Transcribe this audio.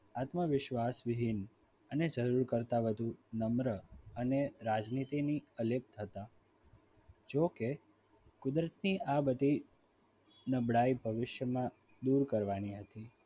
આત્મવિશ્વાસ વિહીન અને જરૂર કરતાં વધુ નમ્ર અને રાજનીતિથી પ્રેરિત હતા જોકે અંદરથી આ બધી નબળાઈ ભવિષ્યમાં દુર કરવાની હતી.